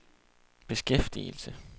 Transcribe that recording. beskæftigelse